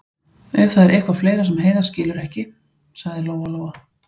Ef það er eitthvað fleira sem Heiða skilur ekki, sagði Lóa-Lóa.